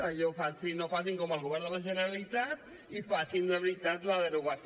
allò no facin com el govern de la generalitat i facin ne de veritat la derogació